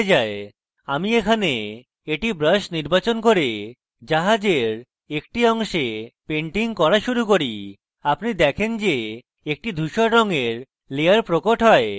আমি এখানে এটি brush নির্বাচন করে জাহাজের একটি অংশে painting করা শুরু করি এবং আপনি দেখেন যে একটি ধুসর রঙের layer প্রকট হয়